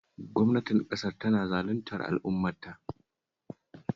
Gwamnatin ƙasar tana zaluntar al'ummarta